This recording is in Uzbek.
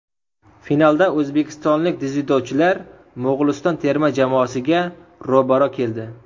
Finalda o‘zbekistonlik dzyudochilar Mo‘g‘uliston terma jamoasiga ro‘baro‘ keldi.